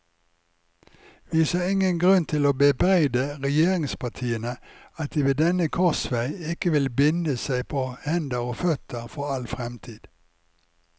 Vi ser ingen grunn til å bebreide regjeringspartiene at de ved denne korsvei ikke vil binde seg på hender og føtter for all fremtid.